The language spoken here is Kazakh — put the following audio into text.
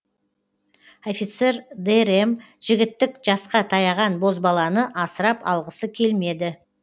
офицер дэрэм жігіттік жасқа таяған бозбаланы асырап алғысы келмеді